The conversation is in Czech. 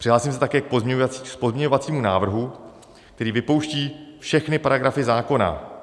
Přihlásím se také k pozměňovacímu návrhu, který vypouští všechny paragrafy zákona.